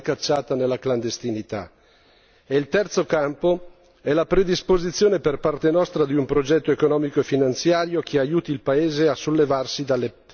Il terzo campo è la predisposizione da parte nostra di un progetto economico e finanziario che aiuti il paese a sollevarsi dalla grave crisi nella quale versa.